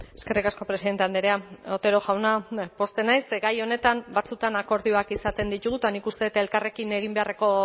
eskerrik asko presidente andrea otero jauna pozten naiz gai honetan batzuetan akordioak izaten ditugu eta nik uste elkarrekin egin beharreko